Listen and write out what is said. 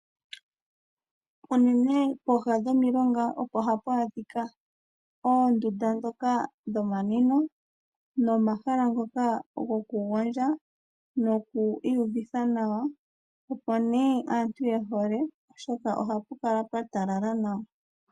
Unene pooha dhomilonga opo haku adhika oondunda ndhoka dhomanwino nomahala ngoka gokugondja noku iyuvitha nawa, opo nee aantu ye hole, oshoka ohapu kala pwa talala nawa.